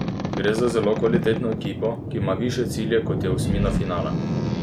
Gre za zelo kvalitetno ekipo, ki ima višje cilje kot je osmina finala.